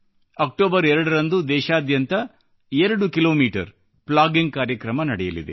October 2 ರಂದು ದೇಶಾದ್ಯಂತ 2 kilometre plogging ಕಾರ್ಯಕ್ರಮ ನಡೆಯಲಿದೆ